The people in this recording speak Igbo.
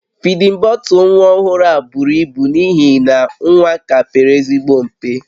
Fidin bọtụlụ nwa ọhụrụ a buru ibu n'ihi na nwa ka pere ezigbo mpe